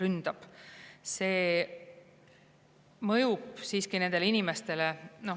See siiski mõjub nendele inimestele.